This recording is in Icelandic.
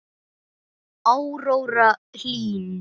Áróra Hlín.